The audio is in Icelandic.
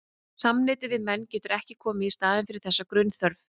Samneyti við menn getur ekki komið í staðinn fyrir þessa grunnþörf.